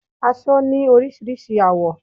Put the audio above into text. Aṣọ ni orísirísi àwọ́